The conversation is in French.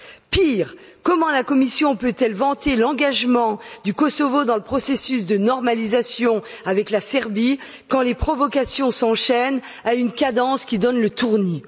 Pire, comment la Commission peut elle vanter l'engagement du Kosovo dans le processus de normalisation avec la Serbie quand les provocations s'enchaînent à une cadence qui donne le tournis?